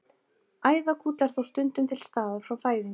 Æðagúll er þó stundum til staðar frá fæðingu.